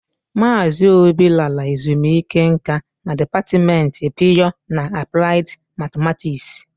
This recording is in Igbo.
Mazị obi lara ezumike nká na dịpatmenti pịyọ na apụlaid matematiksi.